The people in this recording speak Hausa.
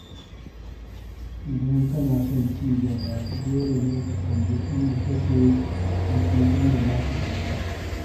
Idan kana son ci gaba, dole ne ka kalli inda kake da kuma inda za ka dosa.